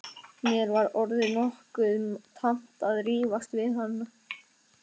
Mér var orðið nokkuð tamt að rífast við hann.